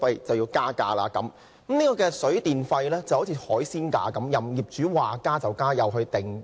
水費和電費就如海鮮價般，業主說加便加。